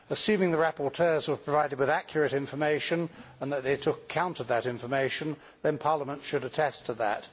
Assuming the rapporteurs were provided with accurate information and that they took account of that information, then Parliament should attest to that.